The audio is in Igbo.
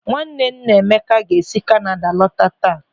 Nwanne nna Emeka ga-esi Kanada lọta taa.